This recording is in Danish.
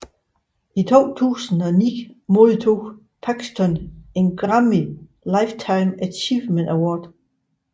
I 2009 modtog Paxton en Grammy Lifetime Achievement Award